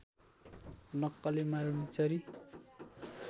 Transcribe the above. नक्कले मारुनीचरी